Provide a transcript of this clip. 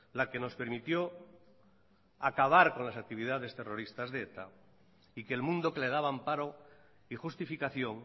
la que nos permitió acabar con las actividades terroristas de eta y que el mundo que le daba amparo y justificación